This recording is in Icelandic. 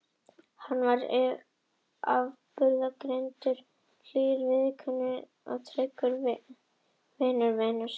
Hann var afburðagreindur, hlýr í viðkynningu og tryggur vinur vina sinna.